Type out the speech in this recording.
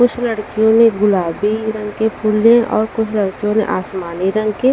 कुछ लड़कियों ने गुलाबी रंग के फूल लिए और कुछ लड़कियों ने आसमानी रंग के--